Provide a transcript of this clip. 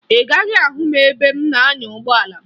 Ị gaghị ahụ m ebe m na-anya ụgbọala m